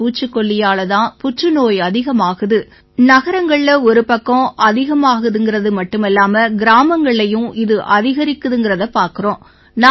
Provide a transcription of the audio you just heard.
இந்த பூச்சிக்கொல்லியால தான் புற்றுநோய் அதிகமாகுது நகரங்கள்ல ஒருபக்கம் அதிகமாகுதுங்கறது ஒருபக்கம் கிராமங்கள்லயும் இது அதிகரிக்குதுங்கறதைப் பார்க்கறோம்